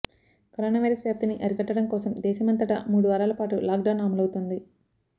corona virus వ్యాప్తిని అరికట్టడం కోసం దేశమంతటా మూడు వారాలపాటు లాక్డౌన్ అమలవుతోంది